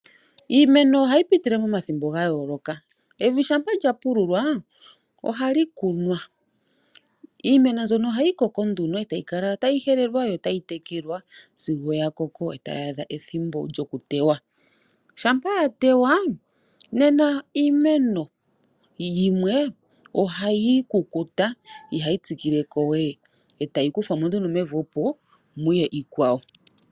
Iimeno ohayi pitile momathimbo ga yooloka, evi uuna lya pululwa ohali kunwa. Iimeno mbyono ohayi koko nduno e tayi kala tayi helelwa yo tayi tekelwa sigo ya koko e tayi adha ethimbo lyokutewa uuna ya tewa nena iimeno yimwe oha yi kukuta ihayi tsikilekowe e tayi kuthwamo nduno mevi opo muye iikwawo.